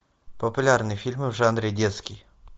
популярные фильмы в жанре детский